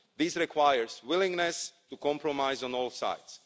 This requires willingness to compromise on all sides.